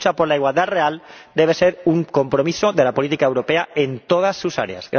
La lucha por la igualdad real debe ser un compromiso de la política europea en todas sus áreas.